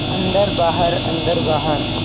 अन्दर बाहर अन्दर बाहर